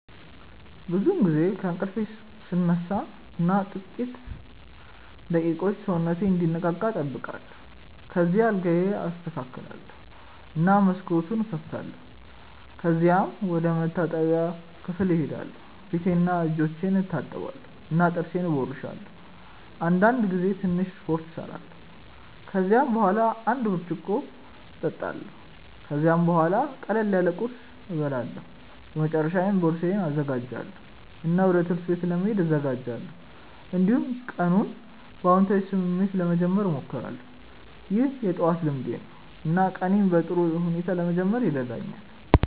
ብዙውን ጊዜ ከእንቅልፌ እነሳ እና ጥቂት ደቂቃዎች ሰውነቴን እንዲነቃ እጠብቃለሁ። ከዚያ አልጋዬን አስተካክላለሁ እና መስኮቱን እከፍታለሁ። ከዚያም ወደ መታጠቢያ ክፍል እሄዳለሁ ፊቴንና እጆቼን እታጠባለሁ እና ጥርሴን እቦርሳለሁ። አንዳንድ ጊዜ ትንሽ ስፖርት እሰራለሁ። ከዚያ በኋላ አንድ ብርጭቆ እጠጣለሁ። ከዚያም ቡሃላ ቅለል ያለ ቁርስ እበላለሁ። በመጨረሻ ቦርሳዬን እዘጋጃለሁ እና ወደ ትምህርት ቤት ለመሄድ እዘጋጃለሁ። እንዲሁም ቀኑን በአዎንታዊ ስሜት ለመጀመር እሞክራለሁ። ይህ የጠዋት ልምዴ ነው እና ቀኔን በጥሩ ሁኔታ ለመጀመር ይረዳኛል።